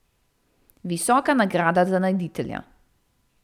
Visoka nagrada za najditelja.